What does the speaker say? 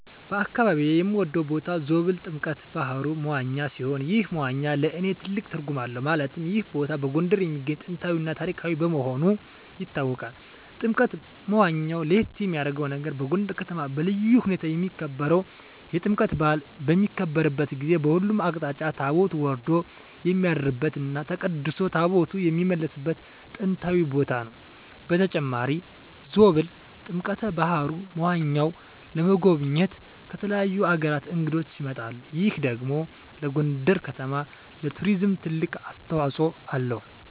በአካባቢየ የምወደው ቦታ ዞብል ጥምቀተ ባህሩ (መዋኛ) ሲሆን ይህ መዋኛ ለእኔ ትልቅ ትርጉም አለው ማለትም ይህ ቦታ በጎንደር የሚገኝ ጥንታዊ እና ታሪካዊ መሆኑ ይታወቃል። ጥምቀተ መዋኛው ለየት የሚያረገው ነገር በጎንደር ከተማ በልዩ ሁኔታ የሚከበረው የጥምቀት በአል በሚከበርበት ጊዜ በሁሉም አቅጣጫ ታቦት ወርዶ የሚያድርበት እና ተቀድሶ ታቦታት የሚመለስበት ጥንታዊ ቦታ ነው። በተጨማሪም ዞብል ጥምቀተ በሀሩ (መዋኛው) ለመጎብኘት ከተለያዩ አገራት እንግዶች ይመጣሉ ይህ ደግሞ ለጎንደር ከተማ ለቱሪዝም ትልቅ አስተዋጽኦ አለው።